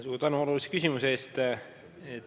Suur tänu olulise küsimuse eest!